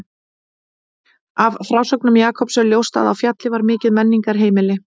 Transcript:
Af frásögnum Jakobs er ljóst að á Fjalli var mikið menningarheimili.